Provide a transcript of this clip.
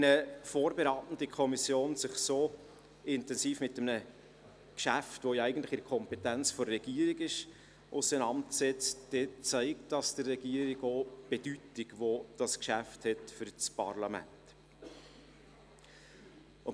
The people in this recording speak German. Wenn eine vorberatende Kommission sich so intensiv mit einem Geschäft, welches eigentlich in der Kompetenz der Regierung liegt, auseinandersetzt, zeigt dies der Regierung auch die Bedeutung auf, die dieses Geschäft für das Parlament hat.